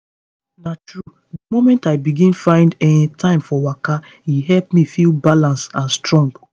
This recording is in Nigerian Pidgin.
na true the moment i begin find um time for waka e help me feel balance and strong.